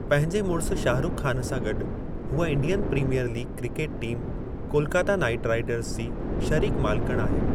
पंहिंजे मुड़स शाहरुख ख़ान सां गॾु, हूअ Indian Premier League cricket team Kolkata Knight Riders जी शरीक-मालिकिण आहे।